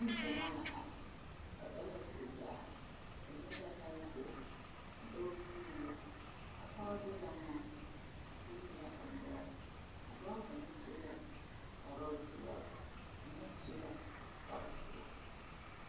Neŋgyamaa la are ba ba la kuri daa ba leŋ la pɛnzeere a dɔɔ kûûnee la a pɔge de la ŋman o gyile la o noɔre a dɔɔ kaŋa su la kparoo doɔre kaŋa su la kparre pelaa